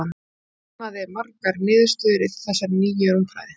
hann sannaði margar niðurstöður í þessari nýju rúmfræði